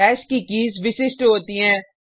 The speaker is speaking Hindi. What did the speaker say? हैश की कीज़ विशिष्ट होती हैं